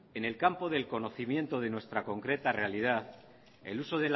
en el campo del conocimiento de nuestra concreta realidad el uso